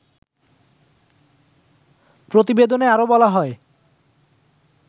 প্রতিবেদনে আরো বলা হয়